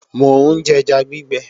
Mò ń jẹja gbígbẹ